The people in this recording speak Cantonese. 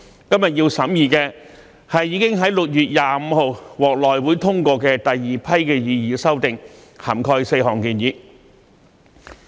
今天要審議的，是已在6月25日獲內會通過的第二批擬議修訂，涵蓋4項建議。